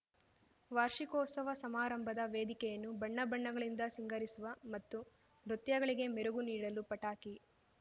ವಾರ್ಷಿಕೋತ್ಸವ ಸಮಾರಂಭದ ವೇದಿಕೆಯನ್ನು ಬಣ್ಣಬಣ್ಣಗಳಿಂದ ಸಿಂಗರಿಸುವ ಮತ್ತು ನೃತ್ಯಗಳಿಗೆ ಮೆರುಗು ನೀಡಲು ಪಟಾಕಿ